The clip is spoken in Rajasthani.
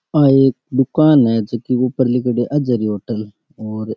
आ एक दूकान है जेकी ऊपर लिखेड़ो है अजहरी होटल और--